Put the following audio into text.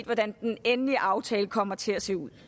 hvordan den endelige aftale kommer til at se ud